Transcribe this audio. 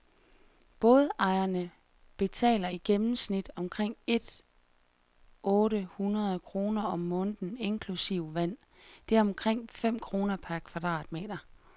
Bådejerne betaler i gennemsnit omkring et otte hundrede kroner om måneden inklusive vand, det er omkring fem kroner per kvadratmeter.